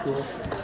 Əla, əla.